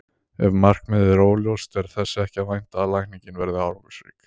Ef markmiðið er óljóst er þess ekki að vænta að lækningin verði árangursrík.